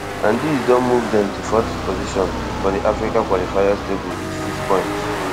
and dis don move dem to fourth position for di africa qualifiers table wit six points